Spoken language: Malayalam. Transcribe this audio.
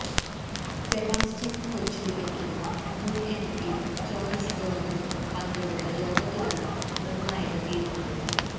സെബാസ്റ്റ്യൻ കൊച്ചുപുരയ്ക്കലും മുൻ എംപി ജോയ്സ് ജോർജും പങ്കെടുത്ത യോഗത്തിലാണു നിർണായക തീരുമാനം